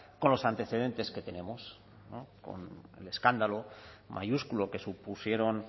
con los antecedentes que tenemos con el escándalo mayúsculo que supusieron